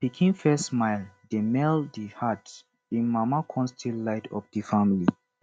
pikin first smile dey melt di heart im mama con still light up di family